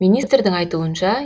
министрдің айтуынша